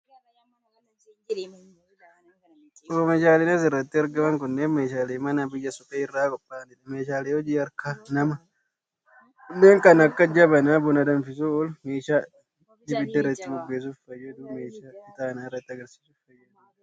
Oomishaaleen as irratti argaman kunnneen, meeshaalee manaa biyyee suphee irraa qopha'anii dha. Meeshaalee hojii harka namaa kunneen kan akka: jabanaa buna danfisuuf oolu, meeshaa ibidda irratti bobeessuuf fayyadu fi meeshaa ixaana irratti aarsuuf fayyadu faa dha.